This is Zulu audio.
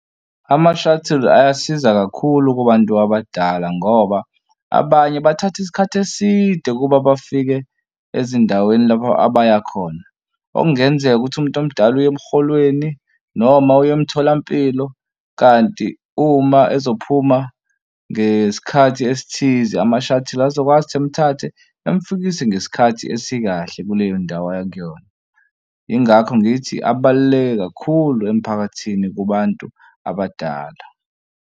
Ama-shuttle ayasiza kakhulu kubantu abadala ngoba abanye bathatha isikhathi eside ukuba bafike ezindaweni lapha abaya khona. Okungenzeka ukuthi umuntu omdala uye emholweni noma uye emtholampilo. Kanti uma ezophuma ngesikhathi esithize ama-shuttle azokwazi ukuthi emthathe emfikise ngesikhathi esikahle kuleyo ndawo aya kuyona. Yingakho ngithi abaluleke kakhulu emphakathini kubantu abadala.